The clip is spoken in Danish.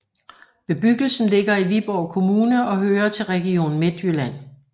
Bebyggelsen ligger i Viborg Kommune og hører til Region Midtjylland